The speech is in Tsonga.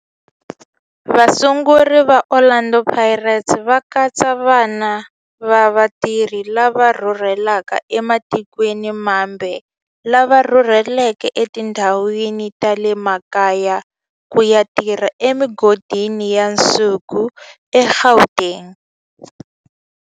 Vasunguri va Orlando Pirates va katsa vana va vatirhi lava rhurhelaka ematikweni mambe lava rhurheleke etindhawini ta le makaya ku ya tirha emigodini ya nsuku eGauteng.